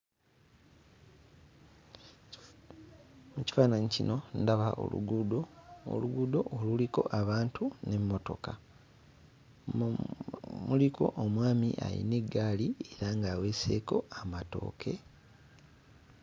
Mu kifaananyi kino ndaba oluguudo. Oluguudo oluliko abantu n'emmotoka. Mu muliko omwami alina eggaali era ng'aweeseeko amatooke.